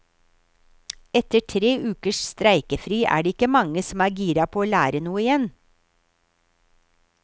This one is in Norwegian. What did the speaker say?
Etter tre ukers streikefri er det ikke mange som er gira på å lære noe igjen.